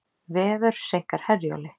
Veður seinkar Herjólfi